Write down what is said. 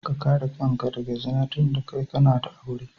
Ka kare kanka daga zina dunda kai kana da aure.